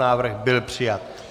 Návrh byl přijat.